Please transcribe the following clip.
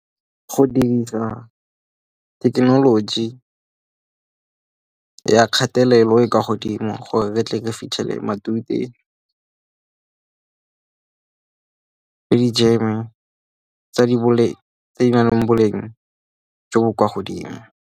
Go dirisa thekenoloji ya kgatelelo e kwa godimo gore ke tle ke fitlhele matute le di-jam tse di nang le boleng jo bo kwa godimo.